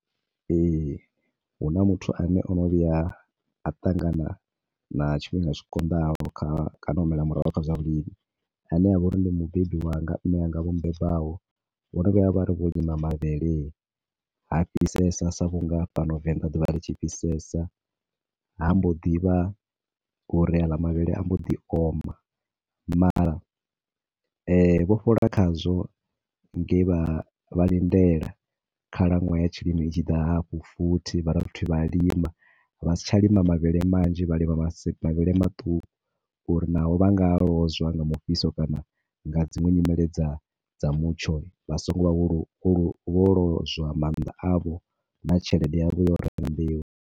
Ee, huna muthu ane ono vhuya a ṱangana na tshifhinga tshi konḓaho kha kana o humela murahu kha zwa vhulimi. A ne avha uri ndi mubebi wanga, mianga vho bebaho. Vho no vhuya vhari vho lima mavhele ha fhisesa sa vhu nga fhano Venḓa ḓuvha ḽi tshi fhisesa, ha mbo ḓivha uri a ka mavhele ambo ḓi oma, mara vho fhola khazwo nge vha vha lindela khalaṅwaha ya tshilimo i tshi ḓa hafho futhi vha dovha futhi vha lima. Vha si tsha lima mavhele manzhi vha lima ma se mavhele maṱuku uri na ho vha nga a lozwa nga mufhiso kana nga dziṅwe nyimele dza dza mutsho, vha songo vha vho lozwa maanḓa avho, na tshelede yavho ya u renga mbeu.